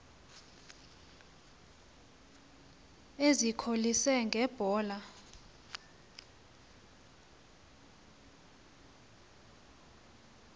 ezikholise nge mbola